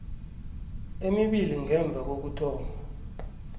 emibili ngemva kokuthoma